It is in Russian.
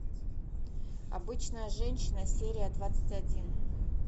обычная женщина серия двадцать один